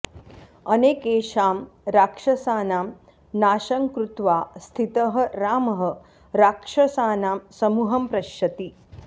अनेकेषां राक्षसानां नाशं कृत्वा स्थितः रामः राक्षसानां समूहं पश्यति